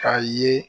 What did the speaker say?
K'a ye